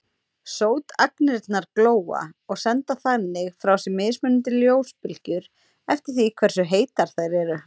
Sótagnirnar glóa og senda þannig frá sér mismunandi ljósbylgjur eftir því hversu heitar þær eru.